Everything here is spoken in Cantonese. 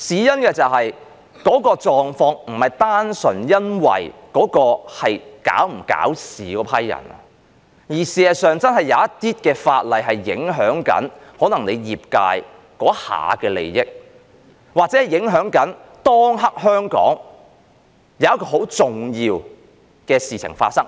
原因是那個狀況不是單純因為那是否搞事的一批人，而事實上真的有些法例會影響某些業界當下的利益，又或影響香港當下很重要的事情。